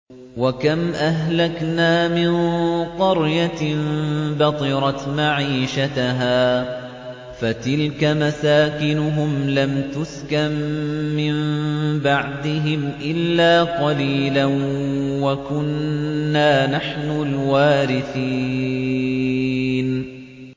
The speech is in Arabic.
وَكَمْ أَهْلَكْنَا مِن قَرْيَةٍ بَطِرَتْ مَعِيشَتَهَا ۖ فَتِلْكَ مَسَاكِنُهُمْ لَمْ تُسْكَن مِّن بَعْدِهِمْ إِلَّا قَلِيلًا ۖ وَكُنَّا نَحْنُ الْوَارِثِينَ